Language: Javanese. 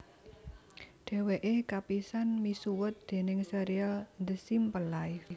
Dhèwèké kapisan misuwut déning sérial The Simple Life